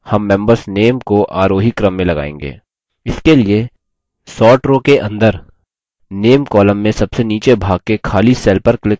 इसके लिए sort row के अंदर name column में सबसे नीचे भाग के खाली cell पर click करते हैं